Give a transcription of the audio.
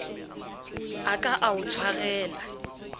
a ka a o tshwarela